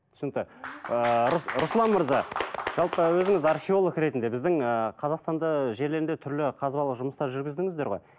түсінікті ыыы руслан мырза жалпы өзіңіз археолог ретінде біздің ыыы қазақстанда жерлерде түрлі қазбалық жұмыстар жүргіздіңіздер ғой